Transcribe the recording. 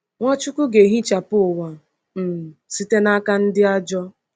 Nwachukwu ga-ehichapụ ụwa um site n’aka ndị ajọ.